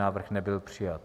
Návrh nebyl přijat.